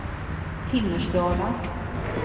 Timmersdala